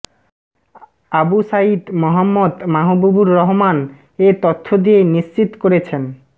আবু সাঈদ মোহাম্মদ মাহবুবুর রহমান এ তথ্য দিয়ে নিশ্চিত করেছেন